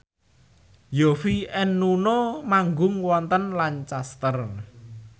Yovie and Nuno manggung wonten Lancaster